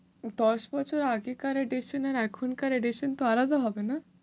দশ বছর আগেকার edition আর এখনকার edition তো আলাদা হবে না?